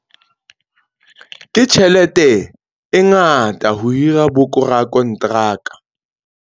Ke tjhelete e ngata ho hira borakonteraka.